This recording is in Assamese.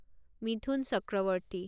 মিথুন চক্ৰৱৰ্তী